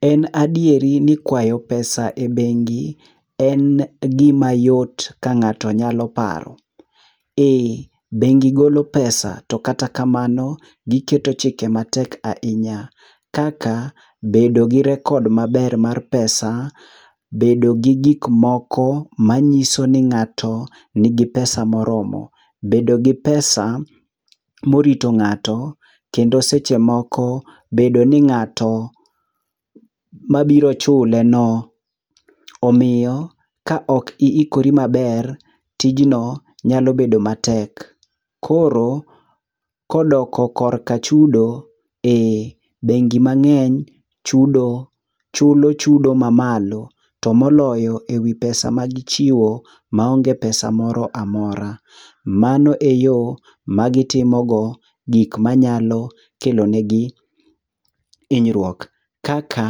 En adieri ni kwayo pesa ebengi en gima yot ka ng'ato nyalo paro. Ee, bengi golo pesa to kata kamano, giketo chike matek ahinya kaka, bedo gi rekod maber mar pesa, bedo gi gik moko manyiso ni ng'ato nigi pesa moromo. Bedo gi pesa morito ng'ato kendo seche moko, bedo ni ng'ato mabiro chuleno. Omiyo ka ok iikori maber, tijno nyalo bedo matek. Koro kodok korka chudo, ee bengi mang'eny chudo, chulo chudo mamalo tomoloyo ewi pesa magichiwo maonge pesa moro amora. Mano eyo magitimogo gik manyalo kelo negi hinyruok. Kaka